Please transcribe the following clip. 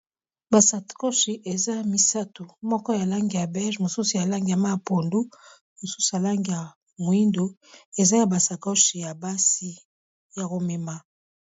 Ba sakoshi eza misato. Moko ya langi ya bege, mosusu ya langi ya mayi ya pondu, mosusu ha langi ya moyindo, eza ya ba sakoshi ya basi ya ko mema.